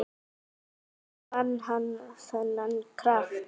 Hvernig fann hann þennan kraft?